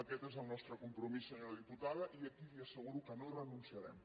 aquest és el nostre compromís senyora diputada i aquí li asseguro que no hi renunciarem